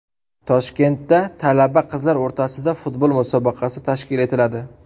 Toshkentda talaba qizlar o‘rtasida futbol musobaqasi tashkil etiladi.